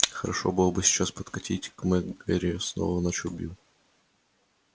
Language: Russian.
хорошо было бы сейчас подкатить к мак гэрри снова начал билл